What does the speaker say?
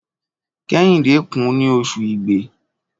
Kẹ́hìndé kùn ní Oṣù igbe.